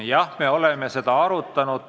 Jah, me oleme seda arutanud.